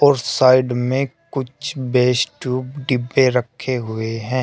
और साइड में कुछ बेस ट्यूब डिब्बे रखे हुए है।